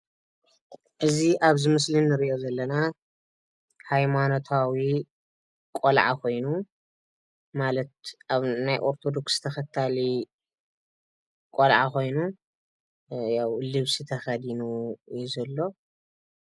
እዚ ኣብ እዚ ምስሊ ንርኦ ዘለና ሃይማኖታዊ ቆልዓ ኮይኑ ናይ ኣርተደክሳዊ ተከታሊ ቆላዓ ኮይኑ ልብሲ ተኸዲኑ እዩ ዘሎ።